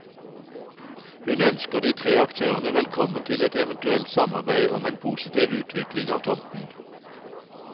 Hun ønsker de tre aktørene velkommen til et eventuelt samarbeid om en positiv utvikling av tomten.